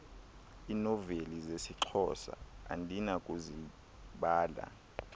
iinoveli zesixhosa andinakuzibala